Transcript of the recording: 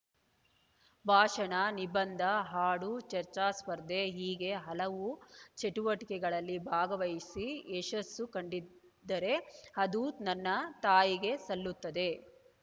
ಭಾಷಣ ನಿಬಂಧ ಹಾಡು ಚರ್ಚಾಸ್ಪರ್ಧೆ ಹೀಗೆ ಹಲವು ಚಟುವಟಿಕೆಗಳಲ್ಲಿ ಭಾಗವಹಿಸಿ ಯಶಸ್ಸು ಕಂಡಿದ್ದರೆ ಅದು ನನ್ನ ತಾಯಿಗೆ ಸಲ್ಲುತ್ತದೆ